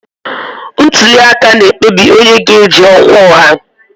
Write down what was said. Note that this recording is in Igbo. Ntuli aka na-ekpebi onye ga-eji ọkwa ọha.